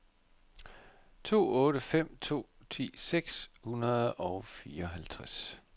to otte fem to ti seks hundrede og fireoghalvtreds